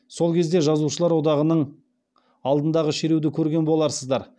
сол кезде жазушылар одағының алдындағы шеруді көрген боларсыздар